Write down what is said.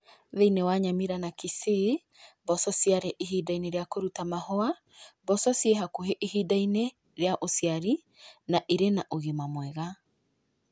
Thi͂ini͂ wa Nyamira na Kisii, mboco ciari͂ ihinda-ini͂ ria ku͂ruta mahu͂a. Mboco ci͂i hakuhe ihinda-ini͂ ria u͂ciari na iri͂ na ũgima mwega.